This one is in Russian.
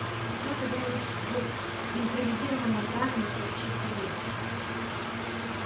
всё это вылилось в импровизированное празднество в честь победы